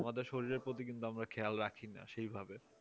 আমাদের শরীরের প্রতি কিন্তু আমরা খেয়াল রাখি না সেইভাবে